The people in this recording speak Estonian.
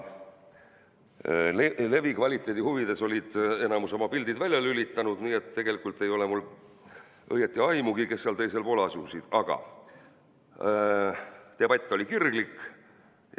Levi kvaliteedi huvides oli enamik oma pildi välja lülitanud, nii et tegelikult ei ole mul õieti aimugi, kes seal teisel pool asusid, aga debatt oli kirglik.